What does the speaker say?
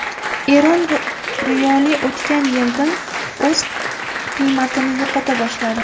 Eron riyoli o‘tgan yildan o‘z qiymatini yo‘qota boshladi.